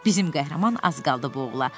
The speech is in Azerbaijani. Bizim qəhrəman az qaldı boğula.